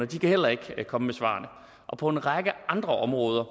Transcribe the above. de kan heller ikke komme med svarene og på en række andre områder